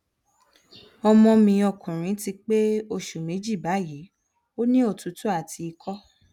ọmọ mi ọkùnrin ti pé oṣù méjì báyìí ó ní òtútù àti ikọ